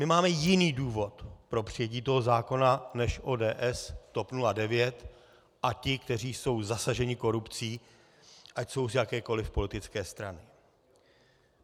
My máme jiný důvod pro přijetí toho zákona než ODS, TOP 09 a ti, kteří jsou zasaženi korupcí, ať jsou z jakékoliv politické strany.